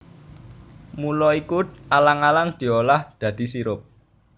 Mula iku alang alang diolah dadi sirup